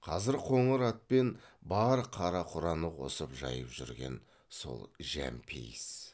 қазір қоңыр атпен бар қара құраны қосып жайып жүрген сол жәмпейіс